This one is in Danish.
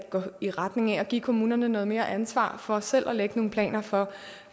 i retning af at give kommunerne noget mere ansvar for selv at lægge nogle planer for